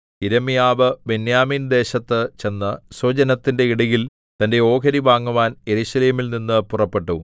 യിരെമ്യാവ് ബെന്യാമീൻദേശത്തു ചെന്ന് സ്വജനത്തിന്റെ ഇടയിൽ തന്റെ ഓഹരി വാങ്ങുവാൻ യെരൂശലേമിൽ നിന്നു പുറപ്പെട്ടു